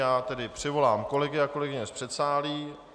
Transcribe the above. Já tedy přivolám kolegy a kolegyně z předsálí.